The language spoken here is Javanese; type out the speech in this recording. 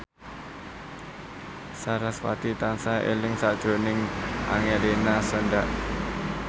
sarasvati tansah eling sakjroning Angelina Sondakh